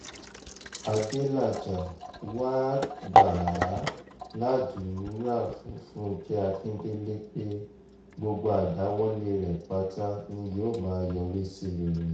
adélájà wàá gbà á ládùúrà fún fúnkẹ́ akíndélé pé gbogbo àdáwọ́lẹ̀ rẹ pátá ni yóò máa yọrí sí rere